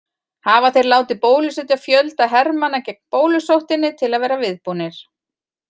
Hafa þeir látið bólusetja fjölda hermanna gegn bólusóttinni til að vera viðbúnir.